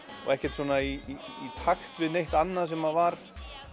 og ekkert svona í í takt við neitt annað sem var